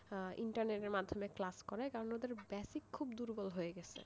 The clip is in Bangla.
ইন্টারনেটের মাধ্যমে class করায় কারণ ওদের basic খুব দুর্বল হয়ে গেছে,